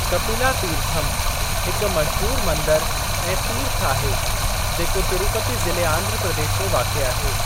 कपिला तीर्थम हिकु मशहूरु मंदरु ऐं तीर्थ आहे, जेको तिरुपति ज़िले आंध्र प्रदेश में वाक़िए आहे।